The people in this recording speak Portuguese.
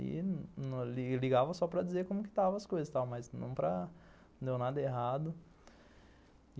E ligava só para dizer como que estava as coisas, mas não para... Não deu nada errado.